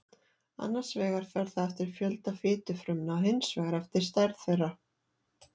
annars vegar fer það eftir fjölda fitufrumna og hins vegar eftir stærð þeirra